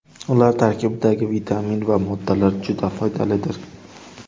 Ular tarkibidagi vitamin va moddalar juda foydalidir.